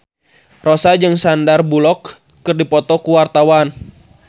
Rossa jeung Sandar Bullock keur dipoto ku wartawan